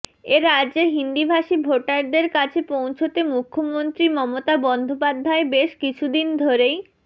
এ রাজ্যে হিন্দিভাষী ভোটারদের কাছে পৌঁছতে মুখ্যমন্ত্রী মমতা বন্দ্যোপাধ্যায় বেশ কিছুদিন ধরেই